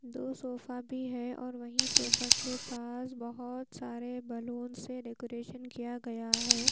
दो सोफा भी है और वही सोफा के पास बहोत सारे बैलून से डेकोरेशन किया गया है।